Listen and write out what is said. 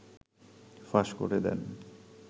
ফাঁস করে দেন